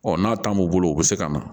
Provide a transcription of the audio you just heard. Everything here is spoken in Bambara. Ɔ n'a ta mun bolo u bɛ se ka na